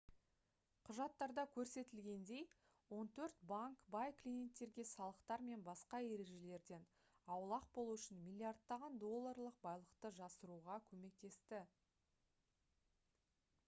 құжаттарда көрсетілгендей он төрт банк бай клиенттерге салықтар мен басқа ережелерден аулақ болу үшін миллиардтаған долларлық байлықты жасыруға көмектесті